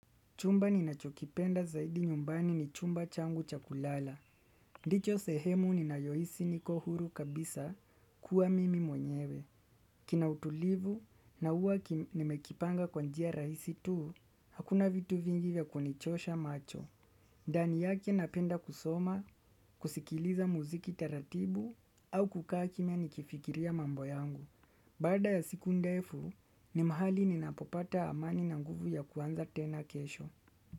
Chumba ninachokipenda zaidi nyumbani ni chumba changu cha kulala ndicho sehemu ninayohisi niko huru kabisa kuwa mimi mwenyewe kina utulivu na huwa nimekipanga kwa njia rahisi tu hakuna vitu vingi vya kunichosha macho. Ndani yake napenda kusoma kusikiliza muziki taratibu au kukaa kimya nikifikiria mambo yangu. Baada ya siku ndefu ni mahali ninapopata amani na nguvu ya kuanza tena kesho.